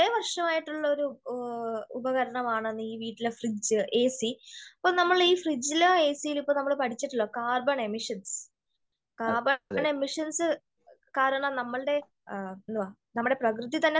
വർശമായിട്ടുള്ള ഒരു ഉപകരണമാണ് ഈ വീട്ടിലെ ഫ്രിഡ്ജ് , എ സി അപ്പോ നമ്മള് ഈ ഫ്രിഡ്ജ് ല് എസിയില് നമ്മള് പടിച്ചിട്ടുണ്ട് കാർബൺ എമിഷൻ കാർബൺ എമിഷൻസ് കാരണം നമ്മളുടെ നമ്മുടെ പ്രകൃതി തന്നെ നശിക്കുവാണ്